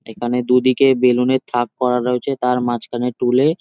এখানে দুই দিকে বেলুন -এর থাক করা রয়েছে। তার মাছখানে টুল এ।